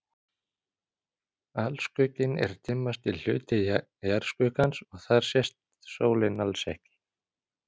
Alskugginn er dimmasti hluti jarðskuggans og þar sést sólin alls ekki.